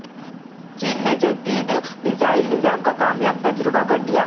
چین نے جدید میزائل نظام کا کامیاب تجربہ کردیا